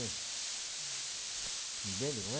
duzentos. Entende, não é?